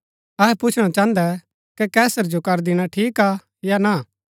अहै पुछणा चाहन्दै कै कैसर जो कर दिणा ठीक हा या ना